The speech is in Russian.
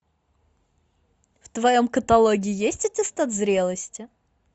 в твоем каталоге есть аттестат зрелости